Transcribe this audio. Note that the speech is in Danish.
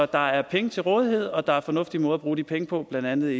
der er penge til rådighed og der er fornuftige måder at bruge de penge på blandt andet